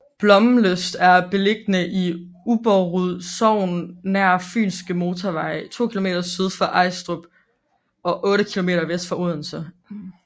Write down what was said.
Blommenslyst er beliggende i Ubberud Sogn nær Fynske Motorvej to kilometer syd for Ejlstrup og otte kilometer vest for Odense